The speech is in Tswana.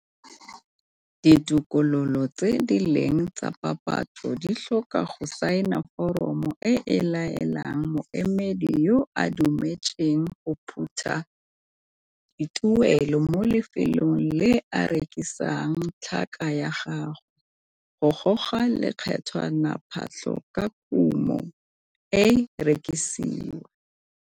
Ditokololo tse di leng tsa papatso di tlhoka go saena foromo e e laelang moemedi yo o dumetseng go phutha dituelo mo lefelong le a rekisang tlhaka ya gagwe, go goga lekgethwanaphatlho fa kumo e rekisiwa.